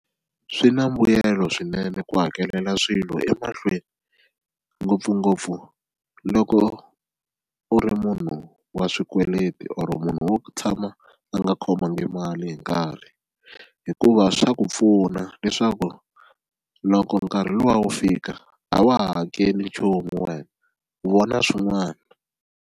Swi na mbuyelo swinene ku hakelela swilo emahlweni ngopfungopfu loko u ri munhu wa swikweleti or munhu wo tshama a nga khomangi mali hi nkarhi hikuva swa ku pfuna leswaku loko nkarhi luwa wu fika a wa ha hakeli nchumu wena u vona swin'wana.